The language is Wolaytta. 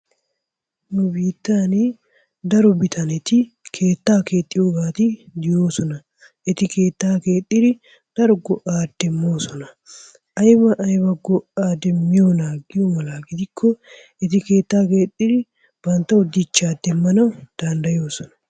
Nu biittan daro bitaneti keettaa keexxiyoobati de'oosona. Eti keetta keexxidi daro go"a demmoosona. Aybba aybba go"a demmiyoona giyo mala gidikko eti keettaa keexxidi banttawu dichchaa demmanawu danddayoosona.